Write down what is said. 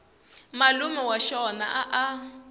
malume wa xona a a